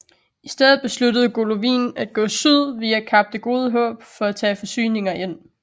I stedet besluttede Golovnin at gå syd via Kap det Gode Håb for at tage forsyninger ind